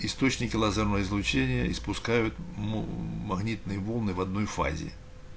источники лазерного излучения испускают мм магнитные волны в одной фазе